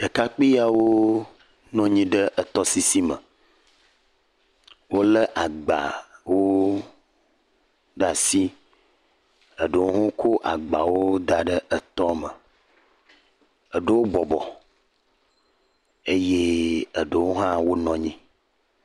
Ɖekakpuiawo nɔ anyi ɖe etɔ sisi me wolé agbawo ɖe asi, ɖewo hã kɔ agbawo da ɖe etɔ me eɖewo bɔbɔ eye eɖewo hã wonɔ anyi.